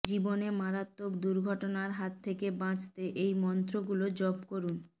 জীবনে মারাত্মক দুর্ঘটনার হাত থেকে বাঁচতে এই মন্ত্রগুলো জপ করুন